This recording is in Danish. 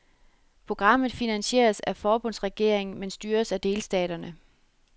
Programmet finansieres af forbundsregeringen, men styres af delstaterne.